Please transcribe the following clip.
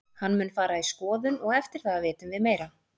Hann mun fara í skoðun og eftir það vitum við meira.